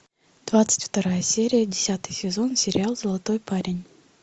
двадцать вторая серия десятый сезон сериал золотой парень